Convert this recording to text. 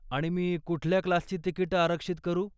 आणि मी कुठल्या क्लासची तिकिटं आरक्षित करू?